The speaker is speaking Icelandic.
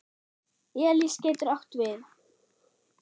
Elís getur átt við